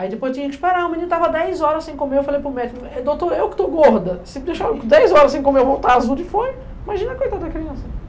Aí depois tinha que esperar, o menino estava dez horas sem comer, eu falei para o médico, doutor, eu que estou gorda, se deixar dez horas sem comer eu vou estar azul de fome, imagina a coitada da criança?